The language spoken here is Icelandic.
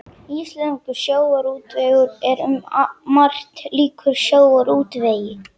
Íslenskur sjávarútvegur er um margt líkur sjávarútvegi